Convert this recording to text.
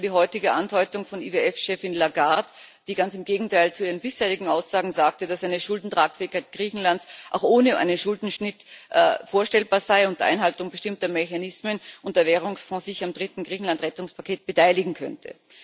So zum Beispiel die heutige Andeutung von IWF Chefin Lagarde, die ganz im Gegenteil zu ihren bisherigen Aussagen erklärte, dass eine Schuldentragfähigkeit Griechenlands auch ohne einen Schuldenschnitt vorstellbar sei unter Einhaltung bestimmter Mechanismen und dass der Währungsfonds sich am dritten Griechenland Rettungspaket beteiligen könnte.